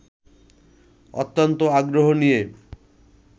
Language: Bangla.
অত্যন্ত আগ্রহ নিয়ে